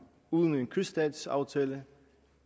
uden en kyststatsaftale